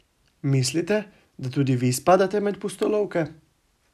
Mislite, da tudi ve spadate med pustolovke?